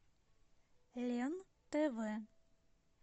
лен тв